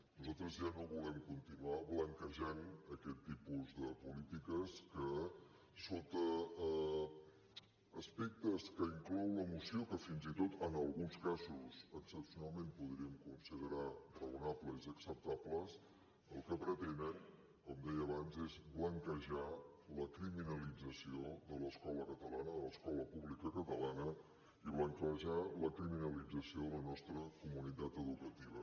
nosaltres ja no volem continuar blanquejant aquest tipus de polítiques que sota aspectes que inclou la moció que fins i tot en alguns casos excepcionalment podríem considerar raonables i acceptables el que pretenen com deia abans és blanquejar la criminalització de l’escola catalana de l’escola pública catalana i blanquejar la criminalització de la nostra comunitat educativa